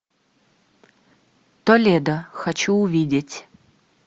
толедо хочу увидеть